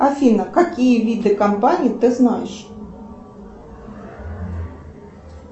афина какие виды компаний ты знаешь